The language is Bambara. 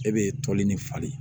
E be toli ni falen